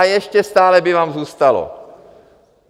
A ještě stále by vám zůstalo.